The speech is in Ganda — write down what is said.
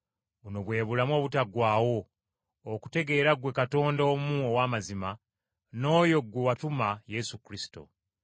Buno bwe bulamu obutaggwaawo, okutegeera ggwe Katonda omu ow’amazima, n’oyo gwe watuma, Yesu Kristo.